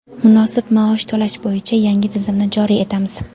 munosib maosh to‘lash bo‘yicha yangi tizimni joriy etamiz.